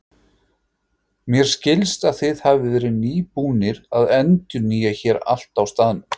Mér skilst að þið hafið verið nýbúnir að endurnýja hér allt á staðnum?